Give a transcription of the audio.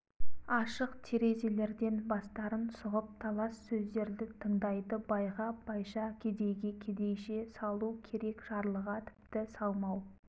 ашық терезелерден бастарын сұғып талас сөздерді тыңдайды байға байша кедейге кедейше салу керек жарлыға тіпті салмау